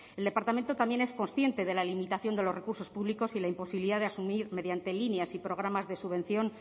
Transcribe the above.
el departamento también es consciente de la limitación de los recursos públicos y la imposibilidad de asumir mediante líneas y programas de subvención